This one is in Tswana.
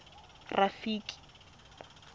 rafiki